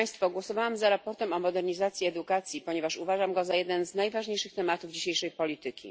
Głosowałam za sprawozdaniem o modernizacji edukacji, ponieważ uważam ten temat za jeden z najważniejszych w dzisiejszej polityce.